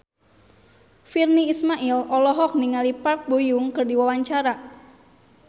Virnie Ismail olohok ningali Park Bo Yung keur diwawancara